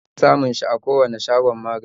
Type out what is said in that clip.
Za ka iya samun shi a kowani shagon magani